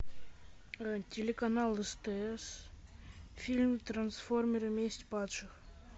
телеканал стс фильм трансформеры месть падших